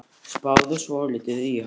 Spáðu svolítið í hann.